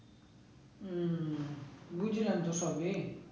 হম বুঝলাম তো